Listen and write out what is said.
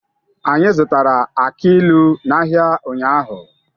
Anyị zụtara aki ilu n'ahịa ụnyaahụ.